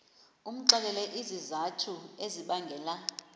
umxelele izizathu ezibangela